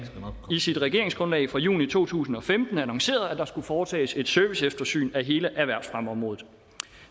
i sit regeringsgrundlag fra juni to tusind og femten annoncerede at der skulle foretages et serviceeftersyn af hele erhvervsfremmeområdet